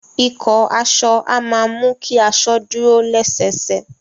Ìkọ́ aso a ma mú ki aso dúro lẹ́sẹsẹ